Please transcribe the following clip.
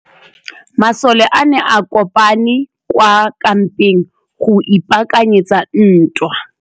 Masole a ne a kopane kwa kampeng go ipaakanyetsa ntwa.